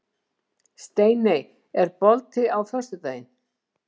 Steiney, er bolti á föstudaginn?